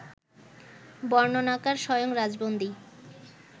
বর্ণনাকার স্বয়ং রাজবন্দী